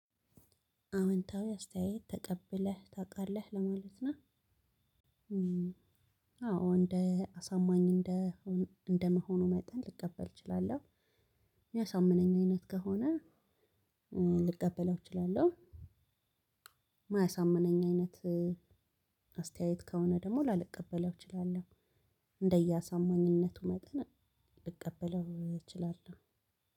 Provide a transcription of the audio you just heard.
አውንታዊ አስተያየት ተቀብለህ ታውቃለህ ለማለት ነው? አዎ እንደ አሳማኝ እንደ እንደመሆኑ መጠን ልቀበል እችላለሁ። እሚያሳምነኝ አይነት ከሆነ ልቀበለው እችላለሁ። እማያሳምነኝ አይነት አስተያየት ከሆነ ደግሞ ላልቀበለው እችላለሁ። እንደየአሳማኝነቱ መጠን ልቀበለው እችላለሁ።